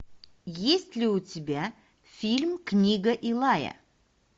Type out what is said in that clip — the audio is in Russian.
есть ли у тебя фильм книга илая